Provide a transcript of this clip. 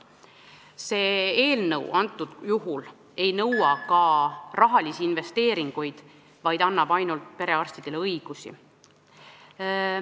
See eelnõu ei nõua ka rahalisi investeeringuid, vaid annab ainult perearstidele õigusi.